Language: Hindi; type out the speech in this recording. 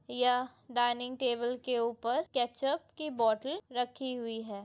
यह डाइनिंग टेबल के उपर केचप कि बोतल रखी हुइ है।